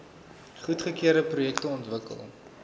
goedgekeurde projekte ontwikkel